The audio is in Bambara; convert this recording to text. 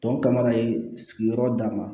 Tɔw kama ye sigiyɔrɔ d'a ma